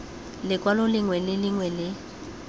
lekwalo lengwe le lengwe le